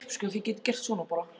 Af hverju ertu að leita að Stebba